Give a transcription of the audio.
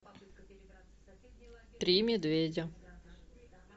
три медведя